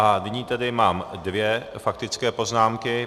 A nyní tedy mám dvě faktické poznámky.